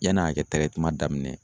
Yann'a ka kɛ tɛrɛtiman daminɛ